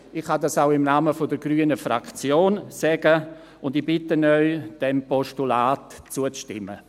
Dies kann ich auch im Namen der grünen Fraktion sagen und bitte Sie, diesem Postulat zuzustimmen.